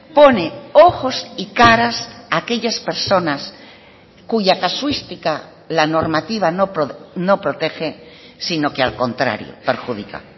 pone ojos y caras a aquellas personas cuya casuística la normativa no protege sino que al contrario perjudica